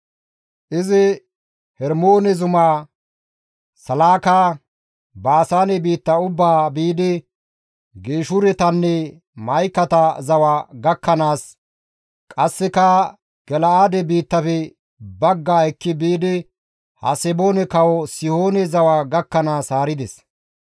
Izi Hermoone zumaa, Salaaka, Baasaane biitta ubbaa, biidi Geeshuretanne Ma7ikate zawa gakkanaas, qasseka Gala7aade biittafe baggaa ekki biidi Haseboone kawo Sihoone zawa gakkanaas haarides.